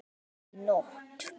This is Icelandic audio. Og hvar varstu í nótt?